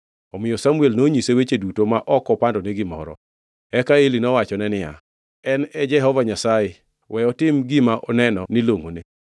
Omiyo Samuel nonyise weche duto ma ok opandone gimoro. Eka Eli nowachone niya, “En e Jehova Nyasaye, we otim gima oneno ni longʼone.”